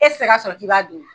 E tɛ se ka sɔrɔ k'i b'a dun